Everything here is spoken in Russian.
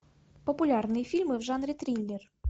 популярные фильмы в жанре триллер